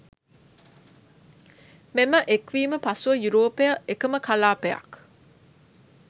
මෙම එක්වීම පසුව යුරෝපය එකම කලාපයක්